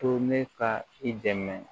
To ne ka i dɛmɛ